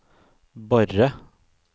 Borre